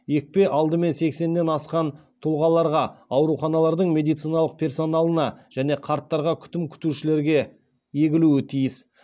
екпе алдымен сексеннен асқан тұлғаларға ауруханалардың медициналық персоналына және қарттарға күтім күтушілерге егілуі тиіс